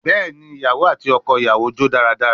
Bẹẹni, iyawo ati ọkọ iyawo jó daradara